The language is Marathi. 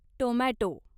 टोमॅटो